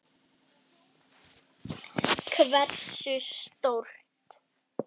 Já, þeir gerðu það.